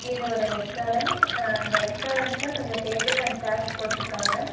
இது ஒரு ரெஸ்டாரன்ட் அந்த ரெஸ்டாரண்ட்ல கொஞ்சோ டேபிள் அண்ட் சேர்ஸ் போட்ருக்காங்க.